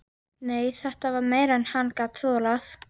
Nei, þetta var meira en hann gat þolað.